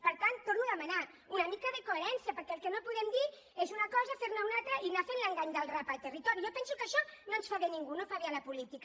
per tant ho torno a demanar una mica de coherència perquè el que no podem dir és una cosa fer ne una altra i anar fent l’engany del rap al territori jo penso que això no fa bé a ningú no fa bé a la política